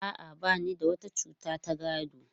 A'a, ba ni da wata cuta ta gado.